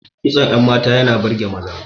Kitson yan mata yana burge maza